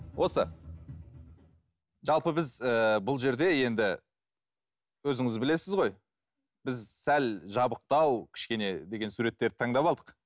осы жалпы біз ыыы бұл жерде енді өзіңіз білесіз ғой біз сәл жабықтау кішкене деген суреттерді таңдап алдық